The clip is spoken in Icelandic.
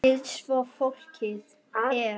Lífið svo flókið er.